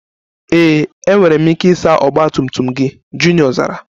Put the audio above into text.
Ee, enwere m ike ịsa ọgba tum tum gị, Junior zara